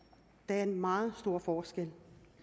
det er en meget stor forskel